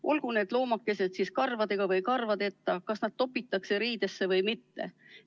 Olgu need loomakesed karvadega või karvadeta, kas nad topitakse riidesse või mitte.